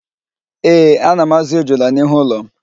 Ee, ana m ázụ̀ ejula n'ihu ụlọ m